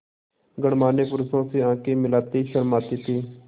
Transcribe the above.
गणमान्य पुरुषों से आँखें मिलाते शर्माते थे